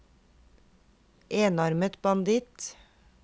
enarmet banditt